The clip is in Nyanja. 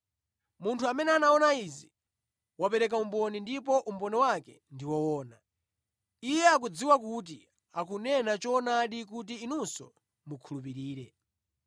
Munthu amene anaona izi wapereka umboni ndipo umboni wake ndi woona. Iye akudziwa kuti akunena choonadi kuti inunso mukhulupirire.